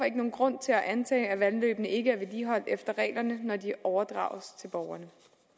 ikke nogen grund til antage at vandløbene ikke er vedligeholdt efter reglerne når de overdrages til borgerne